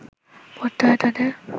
পড়তে হয় তাদের